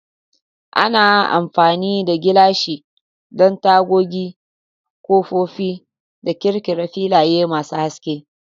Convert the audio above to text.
Ana amfani da gilashi don tagogi, kofofin da ƙirƙirar filaye masu haske.